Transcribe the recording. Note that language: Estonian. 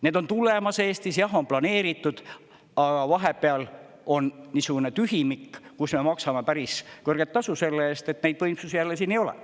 Need on tulemas, Eestis, jah, on planeeritud, aga vahepeal on niisugune tühimik, kus me maksame päris kõrget tasu selle eest, et neid võimsusi jälle siin ei ole.